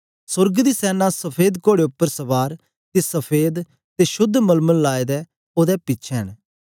सोर्ग दी सैना सफेद कोड़े उपर सवार ते सफेद ते शुद्ध मलमल लाए दे ओदे पिछें न